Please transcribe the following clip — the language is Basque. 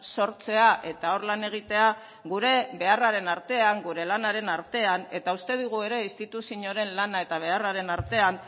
sortzea eta hor lan egitea gure beharraren artean gure lanaren artean eta uste dugu ere instituzioaren lana eta beharraren artean